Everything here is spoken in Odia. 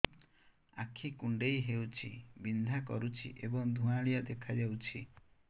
ଆଖି କୁଂଡେଇ ହେଉଛି ବିଂଧା କରୁଛି ଏବଂ ଧୁଁଆଳିଆ ଦେଖାଯାଉଛି